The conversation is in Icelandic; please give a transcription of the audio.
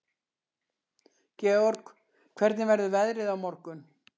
Georg, hvernig verður veðrið á morgun?